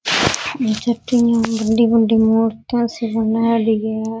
बड़ी बड़ी मूर्तिया सी बनाएड़ी है।